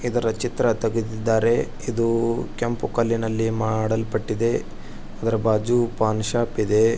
ಇದರ ಚಿತ್ರ ತೆಗೆದಿದ್ದರೆ ಇದು ಕೆಂಪು ಕಲ್ಲಿನಲ್ಲಿ ಮಾಡಲ್ಪಟ್ಟಿದೆ ಅದರ ಬಾಜು ಪಾನ್ ಶಾಪ್ ಇದೆ.